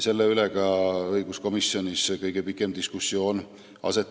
Selle üle oli ka õiguskomisjonis kõige pikem diskussioon.